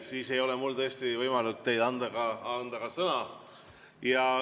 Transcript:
Siis ei ole mul tõesti võimalik teile sõna anda.